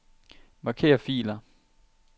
Marker filer.